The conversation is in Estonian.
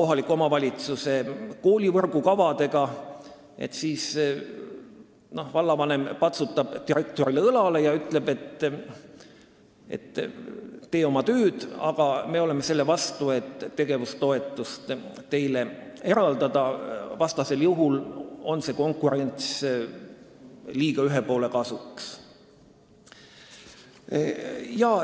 kohaliku omavalitsuse koolivõrgukavadega, siis võib vallavanem patsutada direktorile õlale ja öelda, et, hea küll, tee oma tööd, aga me oleme selle vastu, et teile tegevustoetust eraldada, muidu on konkurents liiga ühe poole kasuks.